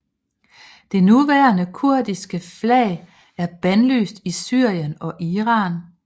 Det nuværende kurdiske flag er bandlyst i Syrien og Iran